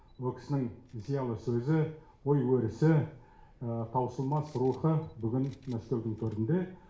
ол кісінің зиялы сөзі ой өрісі таусылмас рухы бүгін мәскеудің төрінде